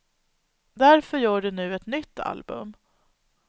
Därför gör de nu ett nytt album.